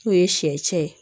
N'o ye siɲɛcɛ ye